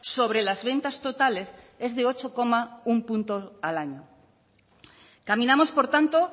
sobre las ventas totales es de ocho coma uno punto al año caminamos por tanto